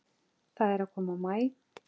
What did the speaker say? Það er að koma maí.